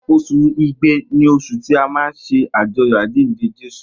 Osun igbe osun ti a má ne ajoyọ ajinde Jesu